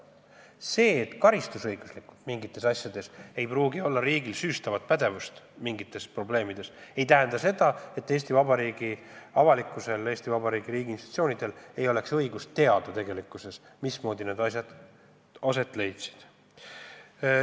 See, et karistusõigustiku kohaselt ei pruugi riigil mingite asjade korral süüstavat pädevust olla, ei tähenda seda, et Eesti Vabariigi avalikkusel, Eesti Vabariigi riigiinstitutsioonidel ei ole õigust teada, mismoodi need asjad aset leidsid.